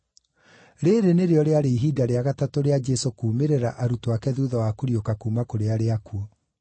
Rĩĩrĩ nĩrĩo rĩarĩ ihinda rĩa gatatũ rĩa Jesũ kuumĩrĩra arutwo ake thuutha wa kũriũka kuuma kũrĩ arĩa akuũ.